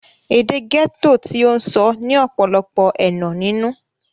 èdè gẹ́tò tí ó ń sọ ní ọ̀pọ̀lọpọ̀ ẹ̀nà nínú